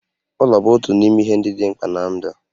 Ụlọ bụ otu n'ime ihe ndị dị mkpa ná ndụ